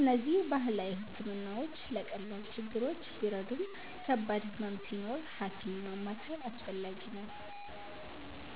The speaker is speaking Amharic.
እነዚህ ባህላዊ ሕክምናዎች ለቀላል ችግሮች ቢረዱም ከባድ ህመም ሲኖር ሐኪም ማማከር አስፈላጊ ነው።